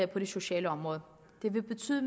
på det sociale område det vil betyde